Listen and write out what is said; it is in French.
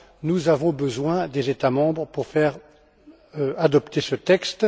Nous avons besoin des États membres pour faire adopter ce texte.